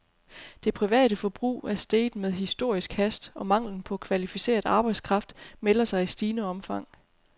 Det private forbrug er steget med historisk hast, og manglen på kvalificeret arbejdskraft melder sig i stigende omfang.